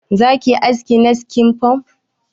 Za ki yi haski na skin punk?